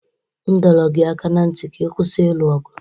M dọrọ gị aka ná ntị ka ị kwụsị ilu ọgụ!